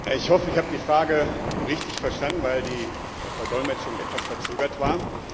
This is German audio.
Ich hoffe, ich habe die Frage richtig verstanden, weil die Verdolmetschung etwas verzögert war.